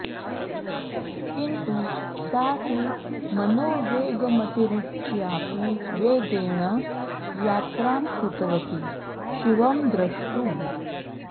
किन्तु सा तु मनोवेगमतिरिच्यापि वेगेण यात्रां कृतवति शिवं द्रष्टुम्